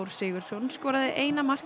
Sigurðsson skoraði eina mark